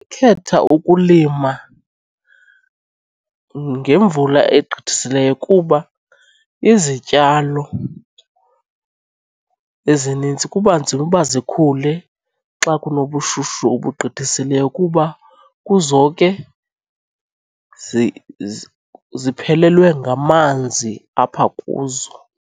Khetha ukulima ngemvula egqithisileyo kuba izityalo ezinintsi kuba nzima uba zikhule xa kunobushushu obugqithisileyo kuba kuzoke ziphelelwe ngamanzi apha kuzo.